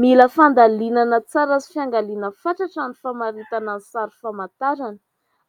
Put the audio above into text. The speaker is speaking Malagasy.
Mila fandalinana tsara sy fiangaliana fatratra ny famaritana ny sary famantarana.